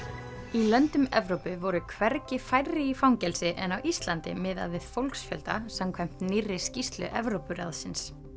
í löndum Evrópu voru hvergi færri í fangelsi en á Íslandi miðað við fólksfjölda samkvæmt nýrri skýrslu Evrópuráðsins